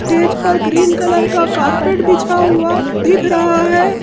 Stage पर green colour का carpet बिछा हुआ दिख रहा है।